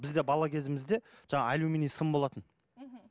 бізде бала кезімізде жаңағы аллюминий сым болатын мхм